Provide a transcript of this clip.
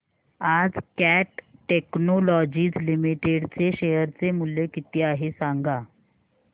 आज Cat Technologies Limited चे share चे मूल्य किती आहे सांगा